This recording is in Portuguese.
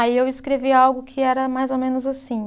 Aí eu escrevi algo que era mais ou menos assim.